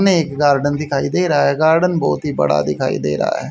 में एक गार्डन दिखाई दे रहा है गार्डन बहोत ही बड़ा दिखाई दे रहा है।